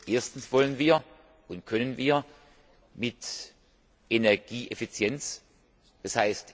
Erstens wollen und können wir mit Energieeffizienz d.